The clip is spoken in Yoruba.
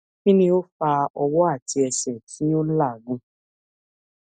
kini o fa ọwọ ati ẹsẹ ti o lagun